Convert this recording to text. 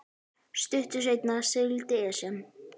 Stuttu seinna sigldi Esjan